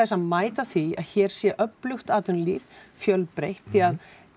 að mæta því að hér sé öflugt atvinnulíf fjölbreytt því að